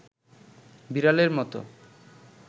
বিড়ালের মতো